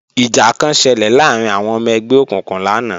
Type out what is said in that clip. Ìjà kan ṣelẹ̀ láàrín àwọn ọmọ ẹgbẹ́ òkùnkùn lánàá